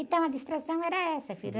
Então, a distração era essa, filho.